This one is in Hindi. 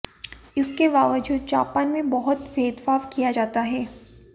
इसके बावजूद जापान में बहुत भेदभाव किया जाता है